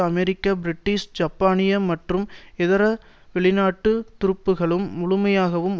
அமெரிக்க British ஜப்பானிய மற்றும் இதர வெளிநாட்டு துருப்புக்களும் முழுமையாகவும்